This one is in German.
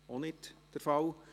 – Dies ist nicht der Fall.